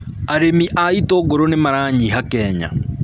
Arĩmi a itũngũrũ nĩ maranyiha Kenya